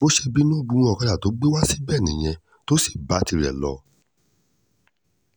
bó ṣe bínú gun ọ̀kadà tó gbé wá síbẹ̀ nìyẹn tó sì bá tirẹ̀ lọ